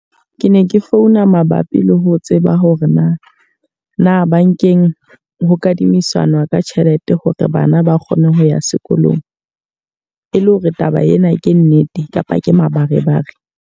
Ke ne ke founa mabapi le ho tseba hore na, na bankeng ho kadimisana ka tjhelete hore bana ba kgone ho ya sekolong? E le hore taba ena ke nnete kapa ke mabarebare?